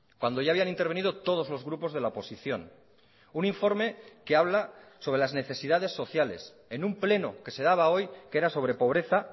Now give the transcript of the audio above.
cuando ya habían intervenido todos los grupos de la oposición un informe que habla sobre las necesidades sociales en un pleno que se daba hoy que era sobre pobreza